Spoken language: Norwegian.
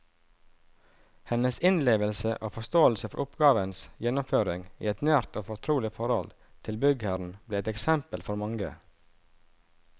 Hennes innlevelse i og forståelse for oppgavens gjennomføring i et nært og fortrolig forhold til byggherren ble et eksempel for mange.